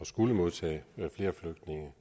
tage flere flygtninge